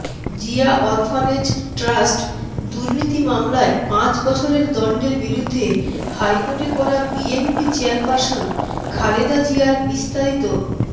Zia orphanage trust দুর্নীতি মামলায় পাঁচ বছরের দণ্ডের বিরুদ্ধে হাইকোর্টে করা বিএনপি চেয়ারপারসন খালেদা জিয়ারবিস্তারিত